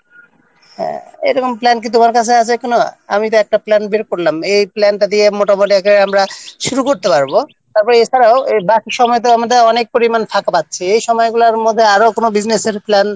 হ্যাঁ এরকম plan কি তোমার কাছে আছে কি না আমি তো একটা plan বের করলাম এই plan-টি দিয়ে মোটামুটি আমরা শুরু করতে পারব তারপরে এছাড়াও আমরা বাকি সময়ে ফাঁকা পাচ্ছি এই সময়গুলোতে আরো কোনও business-র plan